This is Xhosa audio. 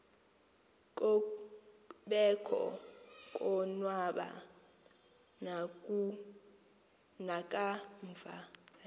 kobekho konwaba nakamva